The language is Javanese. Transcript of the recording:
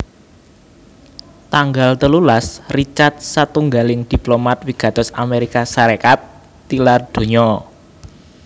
Tanggal telulas Richard satunggaling diplomat wigatos Amérika Sarékat tilar donya